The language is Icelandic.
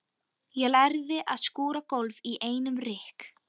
Ég lærði að skúra gólf í einum rykk.